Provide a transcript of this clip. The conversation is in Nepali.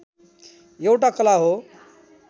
एउटा कला हो